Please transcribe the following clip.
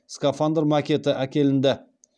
скафандр макеті әкелінді